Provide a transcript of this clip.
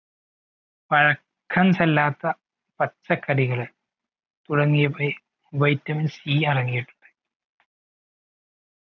പഴക്കം ചെല്ലാത്ത പച്ചക്കറികൾ തുടങ്ങിയവയിൽ vitamin C അടങ്ങീട്ടുണ്ട